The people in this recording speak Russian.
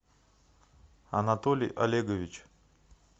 анатолий олегович